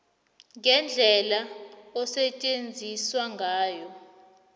ngendlela osetjenziswe ngayo